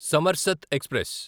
సమర్సత్ express